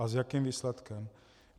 A s jakým výsledkem?